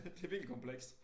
Det virkelig komplekst